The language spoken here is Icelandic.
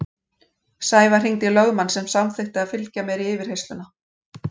Sævar hringdi í lögmann sem samþykkti að fylgja mér í yfirheyrsluna.